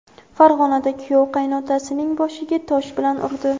Farg‘onada kuyov qaynotasining boshiga tosh bilan urdi.